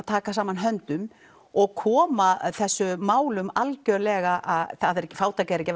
taka saman höndum og koma þessum málum algjörlega fátækt er ekki